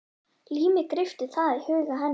Límið greypti það í huga hennar.